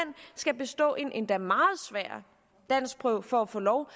skal bestå en endda meget svær danskprøve for at få lov